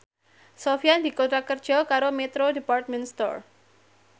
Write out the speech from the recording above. Sofyan dikontrak kerja karo Metro Department Store